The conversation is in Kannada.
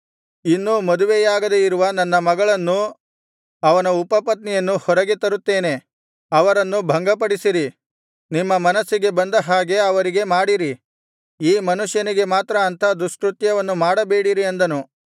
ಇನ್ನೂ ಮದುವೆಯಾಗದೆ ಇರುವ ನನ್ನ ಮಗಳನ್ನೂ ಅವನ ಉಪಪತ್ನಿಯನ್ನೂ ಹೊರಗೆ ತರುತ್ತೇನೆ ಅವರನ್ನು ಭಂಗಪಡಿಸಿರಿ ನಿಮ್ಮ ಮನಸ್ಸಿಗೆ ಬಂದ ಹಾಗೆ ಅವರಿಗೆ ಮಾಡಿರಿ ಈ ಮನುಷ್ಯನಿಗೆ ಮಾತ್ರ ಅಂಥ ದುಷ್ಕೃತ್ಯವನ್ನು ಮಾಡಬೇಡಿರಿ ಅಂದನು